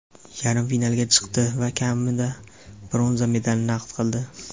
yarim finalga chiqdi va kamida bronza medalni naqd qildi.